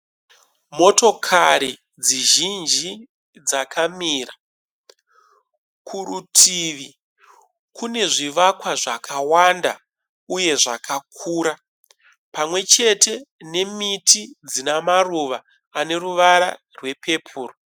Motokari dzizhinji dzakamira. Kurutivi kune zvivakwa zvakawanda uye zvakakura pamwechete nemiti dzine maruva aneruvara rwepepuro.